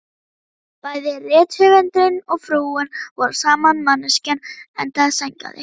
Bæði rithöfundurinn og frúin voru sama manneskjan, enda sængaði